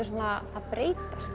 svona að breytast